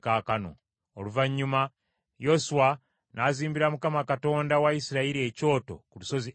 Oluvannyuma Yoswa n’azimbira Mukama Katonda wa Isirayiri, ekyoto ku lusozi Ebali.